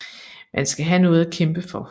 Man skal have noget at kæmpe for